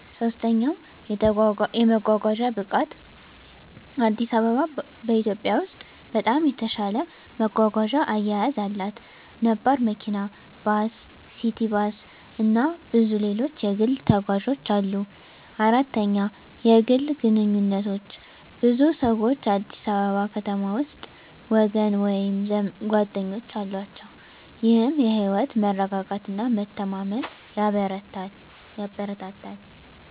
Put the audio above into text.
3. የመጓጓዣ ብቃት: አዲስ አበባ በኢትዮጵያ ውስጥ በጣም የተሻለ መጓጓዣ አያያዝ አላት። ነባር መኪና፣ ባስ፣ ሲቲ ባስ፣ እና ብዙ ሌሎች የግል ተጓዦች አሉ። 4. የግል ግንኙነቶች: ብዙ ሰዎች አዲስ አበባ ከተማ ውስጥ ወገን ወይም ጓደኞች አላቸው፣ ይህም የህይወት መረጋጋትና መተማመን ያበረታታል።